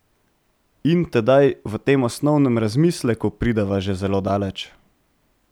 In tedaj v tem osnovnem razmisleku prideva že zelo daleč.